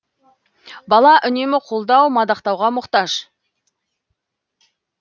бала үнемі қолдау мадақтауға мұқтаж